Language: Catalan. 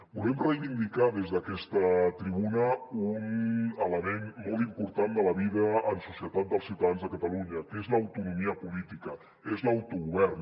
volem reivindicar des d’aquesta tribuna un element molt important de la vida en societat dels ciutadans de catalunya que és l’autonomia política és l’autogovern